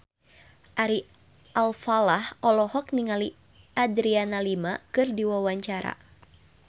Ari Alfalah olohok ningali Adriana Lima keur diwawancara